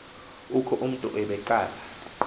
oku umntu ebeqala